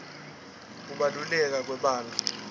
kubaluleka kwebantfu